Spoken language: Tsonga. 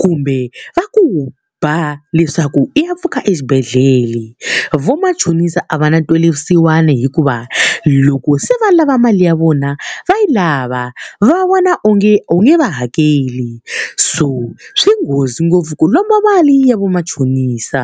kumbe va ku ba leswaku i ya pfuka xibedhlele. Vamachonisa a va na ntwelavusiwana hikuva, loko se va lava mali ya vona, va yi lava va vona onge u nge va hakeli. So swi nghozi ngopfu ku lomba mali ya vamachonisa.